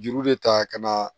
Juru de ta ka na